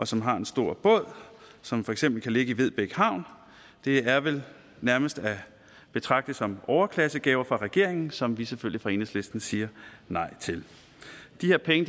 som har en stor båd som for eksempel kan ligge i vedbæk havn det er vel nærmest at betragte som overklassegaver fra regeringen som vi selvfølgelig fra enhedslisten siger nej til de her penge